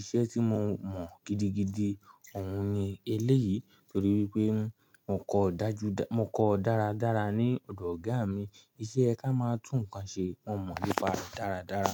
iṣẹ́ tí mo mọ̀ gidigidi òun ni eléyìí torí wípé mo kọ dájúdájú mo kọ dáradára ní ọ̀dọ̀ ọ̀gá mi iṣẹ́ ká máa tún nǹkan ṣe, mo mọ̀ nípa rẹ̀ dáradára.